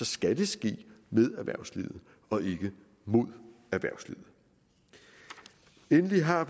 skal ske med erhvervslivet og ikke mod erhvervslivet endelig har